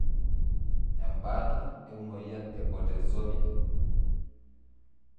Embataa emoyian e Bortezomib.